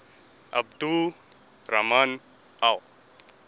abdul rahman al